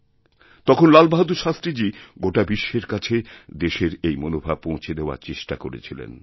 তখন লাল বাহাদুর শাস্ত্রীজি গোটাবিশ্বের কাছে দেশের এই মনোভাব পৌঁছে দেওয়ার চেষ্টা করেছিলেন